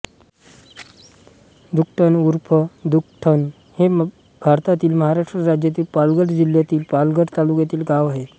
धुकटण ऊर्फ दुखटण हे भारतातील महाराष्ट्र राज्यातील पालघर जिल्ह्यातीलपालघर तालुक्यातील गाव आहे